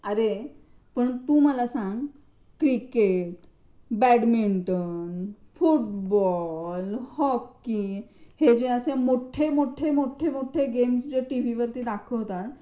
अरे पण तू मला सांग क्रिकेट, बॅडमिंटन, फुटबॉल, हॉकी हे जे असे मोठे मोठे मोठे गेम्स जे टीव्हीवरती दाखवतात.